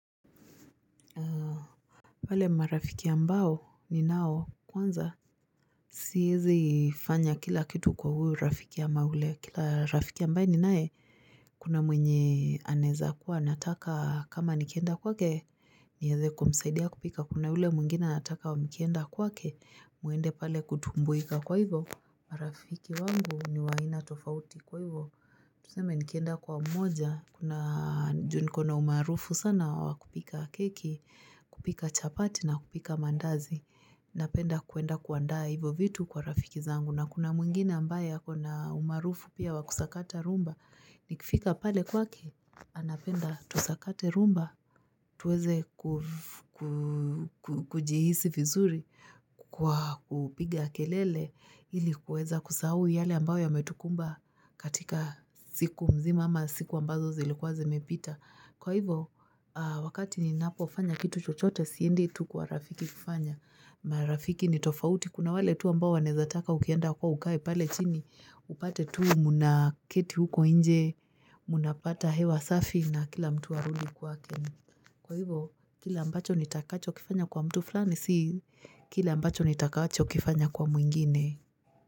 Wale marafiki ambao ni nao kwanza Siezi fanya kila kitu kwa huyu rafiki ya ama ule kila rafiki ambae ni nae Kuna mwenye aneza kuwa nataka kama nikienda kwake ni heze kumsaidia kupika kuna ule mwingine anataka mkienda kwake muende pale kutumbuika kwa hivyo marafiki wangu ni wa aina tofauti kwa hivyo Tuseme nikenda kwa mmoja, kuna juu niko na umarufu sana wakupika keki, kupika chapati na kupika maandazi. Napenda kuenda kuandaa hivyo vitu kwa rafiki zangu. Na kuna mwingine ambaye ako na umarufu pia wakusakata rhumba. Nikifika pale kwake, anapenda tusakate rhumba. Tuweze kujihisi vizuri kwa kupiga kelele ilikuweza kusahau yale ambayo yametukumba katika siku mzima ama siku ambazo zilikuwa zimepita. Kwa hivo wakati ni napofanya kitu chochote siendi tu kwa rafiki kufanya. Marafiki ni tofauti kuna wale tu ambao anezataka ukienda kwao ukae pale chini upate tu muna keti huko nje munapata hewa safi na kila mtu arudi kwa kwake Kwa hivo kile ambacho nitakacho kifanya kwa mtu fulani si Kile ambacho nitakacho kifanya kwa mwingine.